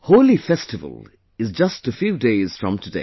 Holi festival is just a few days from today